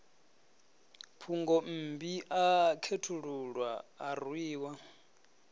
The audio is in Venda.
phungommbi a khethululwa a rwiwa